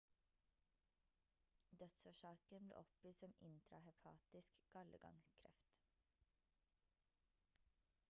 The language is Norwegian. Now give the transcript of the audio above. dødsårsaken ble oppgitt som intrahepatisk gallegangkreft